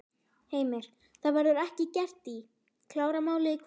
Heimir: Það verður ekki gert í, klárað málið í kvöld?